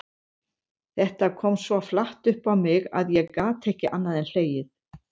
Þetta kom svo flatt upp á mig að ég gat ekki annað en hlegið.